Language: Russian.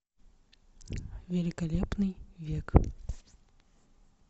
великолепный век